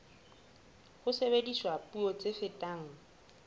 ha sebediswa puo tse fetang